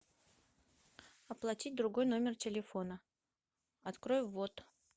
оплатить другой номер телефона открой ввод